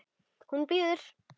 Hún bíður!